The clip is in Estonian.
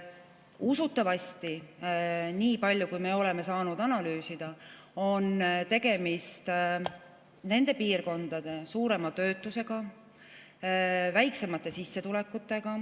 Usutavasti, niipalju, kui me oleme saanud analüüsida, on tegemist sellega, et nendes piirkondades on suurem töötus ja väiksemad sissetulekud.